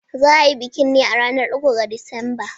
Za a yi bikin ne a ranar uku ga Disamba.